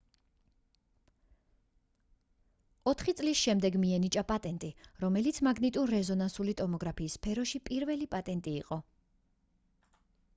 ოთხი წლის შემდეგ მიენიჭა პატენტი რომელიც მაგნიტურ-რეზონანსული ტომოგრაფიის სფეროში პირველი პატენტი იყო